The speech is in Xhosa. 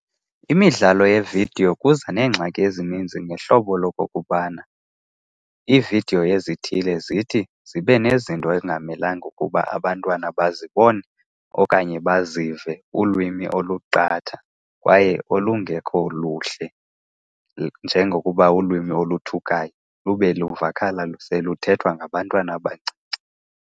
Imidlalo yeevidiyo kuza neengxaki ezininzi ngehlobo lokokubana iividiyo ezithile zithi zibe nezinto ekungamelanga ukuba abantwana bazibone okanye bazive, ulwimi oluqatha kwaye olungekho luhle. Njengokuba ulwimi oluthukayo lube luvakala seluthethwa ngabantwana abancinci.